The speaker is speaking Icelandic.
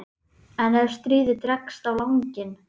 En ef stríðið dregst á langinn?